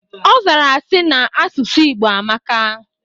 Ọzara sị, na asụsụ Igbo amaka